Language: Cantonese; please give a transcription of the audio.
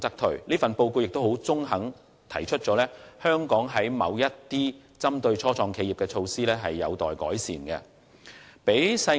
此外，這份報告亦很中肯地指出，香港某些針對初創企業的措施仍有待改善。